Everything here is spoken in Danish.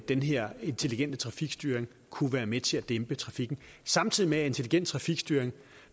den her intelligente trafikstyring kunne være med til at dæmpe trafikken samtidig med at intelligent trafikstyring